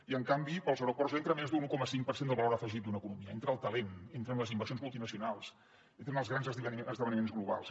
i en canvi pels aeroports entra més d’un un coma cinc per cent del valor afegit d’una economia entra el talent entren les inversions multinacionals entren els grans esdeveniments globals